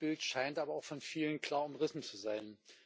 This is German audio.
Das Meinungsbild scheint aber auch von vielen klar umrissen zu sein.